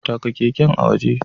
Taka keken a waje.